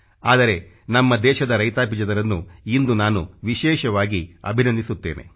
ಆದರೆ ನಮ್ಮ ದೇಶದ ರೈತಾಪಿ ಜನರನ್ನು ಇಂದು ನಾನು ವಿಶೇಷವಾಗಿ ಅಭಿನಂದಿಸುತ್ತೇನೆ